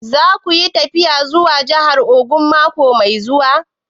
Za ka yi tafiya zuwa jahar Ogun mako mai zuwa?